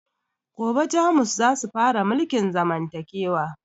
Gobe jamus zasu fara mulkin zamantakewa